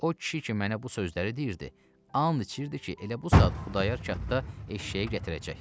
O kişi ki mənə bu sözləri deyirdi, and içirdi ki, elə bu saat Xudayar çatda eşşəyi gətirəcək.